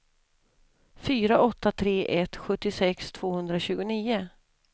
fyra åtta tre ett sjuttiosex tvåhundratjugonio